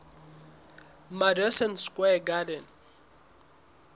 madison square garden